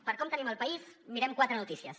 per a com tenim el país mirem quatre notícies